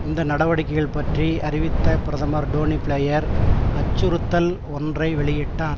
இந்த நடவடிக்கைகள் பற்றி அறிவித்த பிரதமர் டொனி பிளேயர் அச்சுறுத்தல் ஒன்றை வெளியிட்டார்